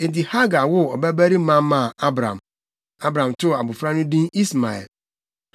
Enti Hagar woo ɔbabarima maa Abram. Abram too abofra no din Ismael.